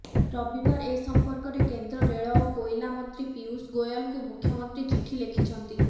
ରବିବାର ଏ ସମ୍ପର୍କରେ କେନ୍ଦ୍ର ରେଳ ଓ କୋଇଲା ମନ୍ତ୍ରୀ ପୀୟୁଷ ଗୋୟଲଙ୍କୁ ମୁଖ୍ୟମନ୍ତ୍ରୀ ଚିଠି ଲେଖିଛନ୍ତି